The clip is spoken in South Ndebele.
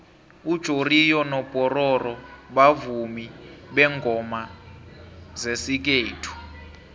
ujoriyo nopororo bavumi bengoma zesikhethu